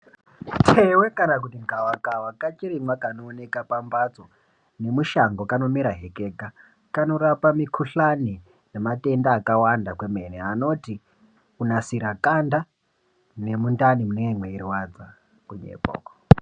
Mutewe kana kuti gavakava kachirimwa kwanooneka pambatso nemushango kanomera he kega kanorapa mikuhlane nematenda akawanda kwemene anoti kunasira ganda nemundani mune mweirwadza.....